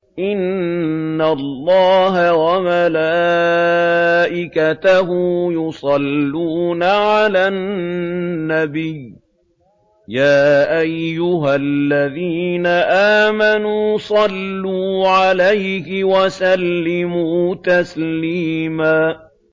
إِنَّ اللَّهَ وَمَلَائِكَتَهُ يُصَلُّونَ عَلَى النَّبِيِّ ۚ يَا أَيُّهَا الَّذِينَ آمَنُوا صَلُّوا عَلَيْهِ وَسَلِّمُوا تَسْلِيمًا